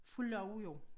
Fået lov jo